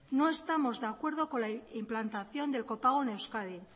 no estamos de acuerdo con la implantación del copago en euskadi